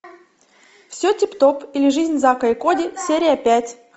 все тип топ или жизнь зака и коди серия пять